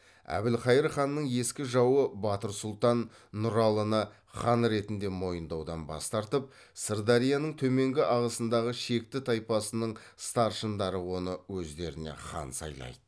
әбілқайыр ханның ескі жауы батыр сұлтан нұралыны хан ретінде мойындаудан бас тартып сырдарияның төменгі ағысындағы шекті тайпасының старшындары оны өздеріне хан сайлайды